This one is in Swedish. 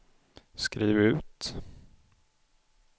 skriv ut